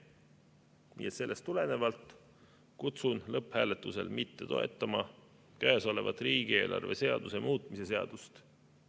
Nii et sellest tulenevalt kutsun üles lõpphääletusel mitte toetama käesolevat riigieelarve seaduse muutmise seadust.